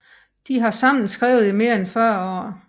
De har sammen skrevet i mere end 40 år